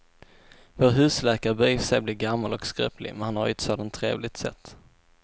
Vår husläkare börjar i och för sig bli gammal och skröplig, men han har ju ett sådant trevligt sätt!